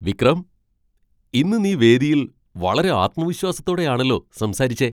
വിക്രം! ഇന്ന് നീ വേദിയിൽ വളരെ ആത്മവിശ്വാസത്തോടെയാണല്ലോ സംസാരിച്ചെ!